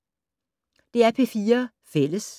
DR P4 Fælles